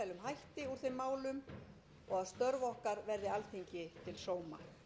að við berum gæfu til að leysa með farsælum hætti úr þeim málum og